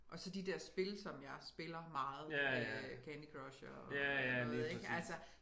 Og så de dér spil som jeg spiller meget øh Candy Crush og noget ik altså